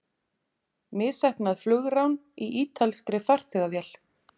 Misheppnað flugrán í ítalskri farþegavél